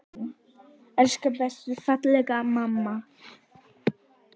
Elsku besta, fallega mamma.